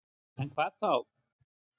En hvað þá?